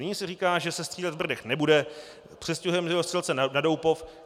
Nyní se říká, že se střílet v Brdech nebude, přestěhujeme dělostřelce na Doupov.